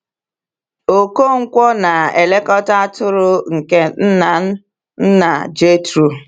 Okonkwo na-elekọta atụrụ nke nna nna Jethro.